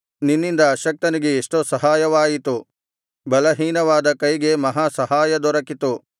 ನಿನ್ನಿಂದ ಅಶಕ್ತನಿಗೆ ಎಷ್ಟೋ ಸಹಾಯವಾಯಿತು ಬಲಹೀನವಾದ ಕೈಗೆ ಮಹಾ ಸಹಾಯ ದೊರಕಿತು